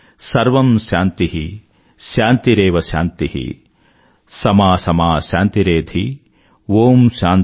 సర్వం శాంతి శాంతరేవ శాంతి సమా సమా శాంతిరేధి